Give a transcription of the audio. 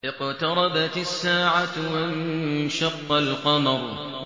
اقْتَرَبَتِ السَّاعَةُ وَانشَقَّ الْقَمَرُ